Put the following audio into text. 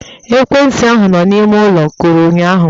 Ekwentị ahụ nọ n'ime ụlọ kụrụ ụnyụahụ